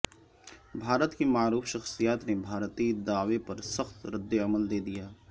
بھارت کی معروف شخصیت نے بھارتی دعوے پر سخت ردعمل دے دیا